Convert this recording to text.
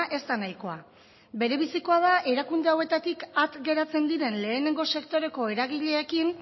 ez da nahikoa berebizikoa da erakunde hauetatik at geratzen diren lehenengo sektoreko eragileekin